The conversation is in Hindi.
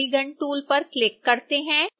आइए polygon tool पर क्लिक करते हैं